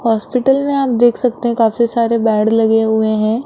Hospital में आप देख सकते हैं काफी सारे बेड लगे हुए हैं।